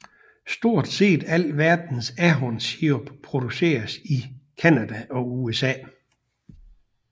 Stort set al verdens ahornsirup produceres i Canada og USA